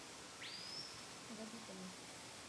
габитову